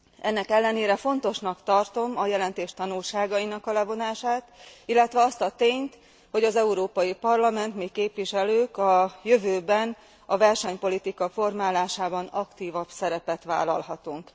Ennek ellenére fontosnak tartom a jelentés tanulságainak a levonását, illetve azt a tényt, hogy az Európai Parlament mi képviselők a jövőben a versenypolitika formálásában aktívabb szerepet vállalhatunk.